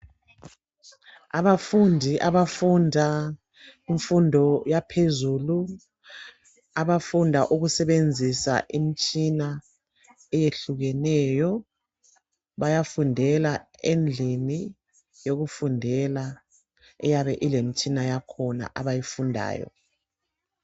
Abafundi abafunda imfundo yaphezulu. Abafunda ukusebenzisa imitshina eyehlukeneyo. Bayafundela endlini yokufundela eyabe ilemtshina yakhona abayifundayo.